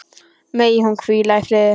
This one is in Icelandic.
Megi hún hvíla í friði.